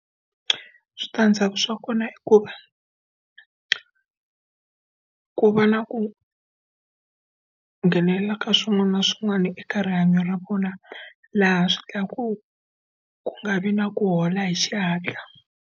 Switandzhaku swa kona i ku va, ku va na ku nghenelela ka swin'wana na swin'wana eka rihanyo ra vona laha swi endlaka ku, ku nga vi na ku hola hi xihatla.